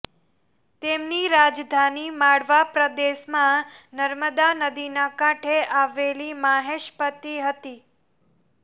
તેમની રાજધાની માળવા પ્રદેશમાં નર્મદા નદીના કાંઠે આવેલી માહિષ્મતિ હતી